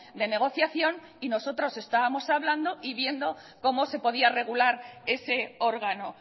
de negociación y nosotros estábamos hablando y viendo cómo se podía regular ese órgano